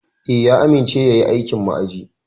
Eh, ya amince yayi aikin ma'aji.